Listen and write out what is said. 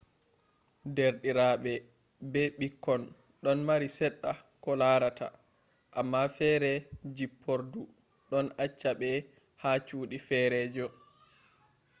derdiraɓe be ɓikkon ɗon mari seɗɗa koh larata amma feere jippordu ɗon acca ɓe ha cuuɗi feerejo